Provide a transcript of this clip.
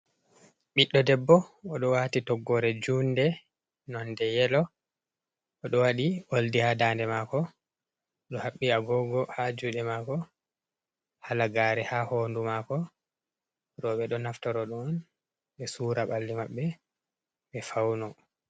Ɓiɗɗo debbo o ɗo waati toggoore juunde nonnde yelo, o ɗo waɗi oldi haa daande maako, o ɗo haɓɓi agoogo haa juuɗe maako, halagaare haa hoondu maako, rooɓe ɗo naftoro ɗon be suura ɓalli maɓɓe ɓe fawno.